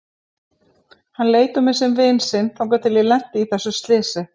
Hann leit á mig sem vin sinn þangað til ég lenti í þessu slysi.